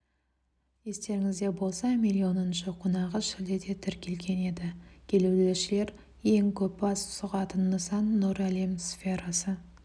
естеріңізде болса миллионыншы қонағы шілдеде тіркелген еді келушілер ең көп бас сұғатын нысан нұр әлем сферасы